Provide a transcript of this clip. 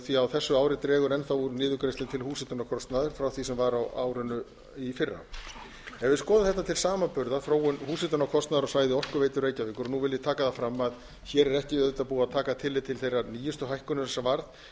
því á þessu ári dregur enn þá úr niðurgreiðslu til húshitunarkostnaðar frá því sem var á árinu í fyrra ef við skoðun þetta til samanburðar þróun húshitunarkostnaðar á svæði orkuveitu reykjavíkur nú vil ég taka það fram að hér er ekki auðvitað búið að taka tillit til þeirrar nýjustu hækkunar sem varð